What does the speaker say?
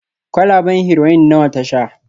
kwalaben Heroin nawa ta sha